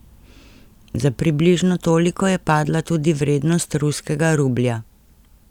Za približno toliko je padla tudi vrednost ruskega rublja.